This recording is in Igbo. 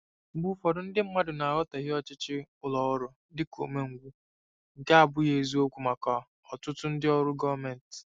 Mgbe ụfọdụ, ndị mmadụ na-aghọtahie ọchịchị ụlọ ọrụ dị ka umengwụ, nke abụghị eziokwu maka ọtụtụ ndị ọrụ gọọmentị.